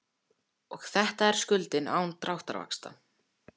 Og þetta er skuldin án dráttarvaxta.